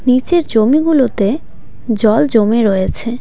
নীচের জমি গুলোতে জল জমে রয়েছে।